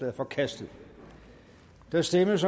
er forkastet der stemmes